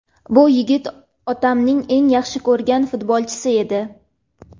Bu yigit otamning eng yaxshi ko‘rgan futbolchisi edi.